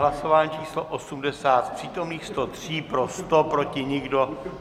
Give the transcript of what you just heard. Hlasování číslo 80, z přítomných 103 pro 100, proti nikdo.